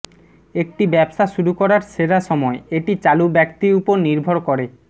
একটি ব্যবসা শুরু করার সেরা সময় এটি চালু ব্যক্তি উপর নির্ভর করে